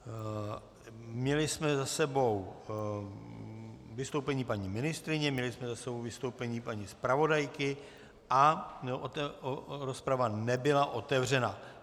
Měli jsme za sebou vystoupení paní ministryně, měli jsme za sebou vystoupení paní zpravodajky a rozprava nebyla otevřena.